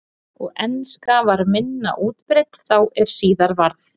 og enska var minna útbreidd þá en síðar varð